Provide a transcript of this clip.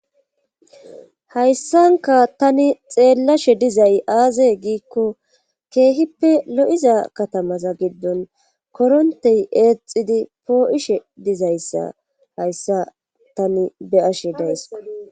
hayssanka tani xeellashe dizay aaze giikko keehippe lo7iza katamaza giddon korontey eexidi poo7ishe dizayssa hayssa tani beyashe dayssko